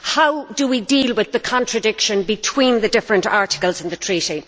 How do we deal with the contradiction between the different articles in the Treaty?